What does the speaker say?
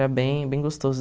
era bem bem gostoso